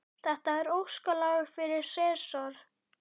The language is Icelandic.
Þetta er óskalag fyrir Sesar.